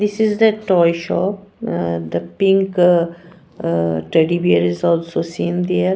this is the toy shop ah the pink ah teddy bear is also seen there.